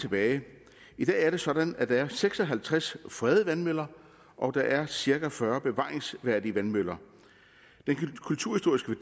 tilbage af i dag er det sådan at der er seks og halvtreds fredede vandmøller og der er cirka fyrre bevaringsværdige vandmøller den kulturhistoriske